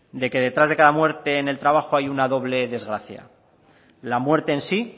de que detrás de cada muerte en el trabajo hay una doble desgracia la muerte en sí